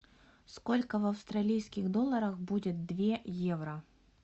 сколько в австралийских долларах будет две евро